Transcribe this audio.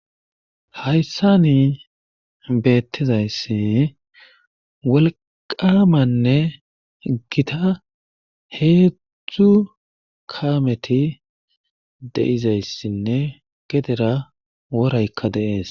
hayssani beettizayssi wolqamanne gita heedzdzdzu kaameti de7izayssinne gedera woraykka deees